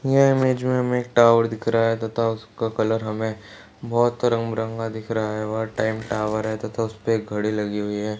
यह इमेज मे हमें एक टावर दिख रहा है तथा उसका कलर हमे बहोत रंग बिरंगा दिख रहा है और टाइम टावर है तथा उसपे एक घड़ी लगी हुई है।